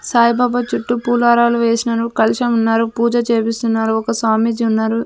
సాయిబాబా చుట్టు పూలారాలు వేసినారు కలశం ఉన్నారు పూజ చేపిస్తున్నారు ఒక సామీజి ఉన్నారు.